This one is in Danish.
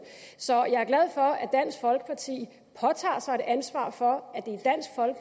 så jeg er glad for at dansk folkeparti påtager sig et ansvar for